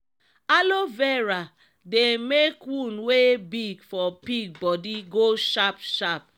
alo vera dey make wound wey big for pig bodi go sharp sharp.